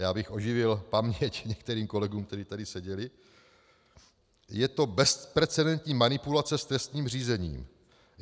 Já bych oživil paměť některým kolegům, kteří tady seděli: Je to bezprecedentní manipulace s trestním řízením.